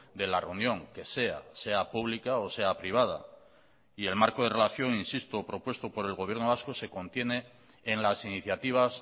de la reunión que sea sea pública o sea privada y el marco de relación insisto propuesto por el gobierno vasco se contiene en las iniciativas